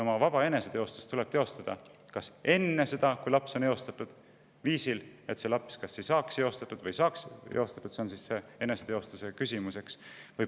Oma vaba eneseteostust tuleb teostada kas enne seda, kui laps on eostatud, viisil, et see laps kas ei saaks eostatud või saaks eostatud – see on see eneseteostuse küsimus.